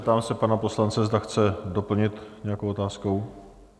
Ptám se pana poslance, zda chce doplnit nějakou otázkou?